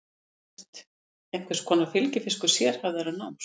Hún virðist einhvers konar fylgifiskur sérhæfðara náms.